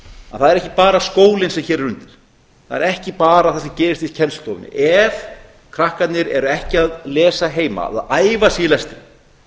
að það er ekki bara skólinn sem hér er undir það er ekki bara það sem gerist í kennslustofunni ef krakkarnir eru ekki að lesa heima eða æfa sig í lestri